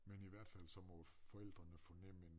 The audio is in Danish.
Men i hvert fald så må forældrene fornemme en